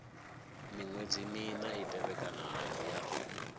miṅwedzi mina i tevhekanaho ya